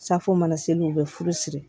Safo mana seli u bɛ furu siri